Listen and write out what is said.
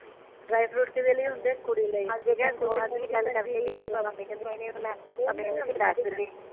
dry fruit ਕਿਦੇ ਲਈ ਹੁੰਦੇ ਕੁੜੀ ਲਈ